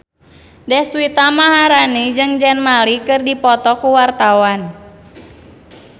Deswita Maharani jeung Zayn Malik keur dipoto ku wartawan